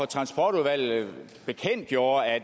transportudvalget bekendtgjorde at